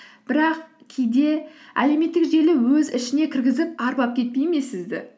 бірақ кейде әлеуметтік желі өз ішіне кіргізіп арбап кетпей ме сізді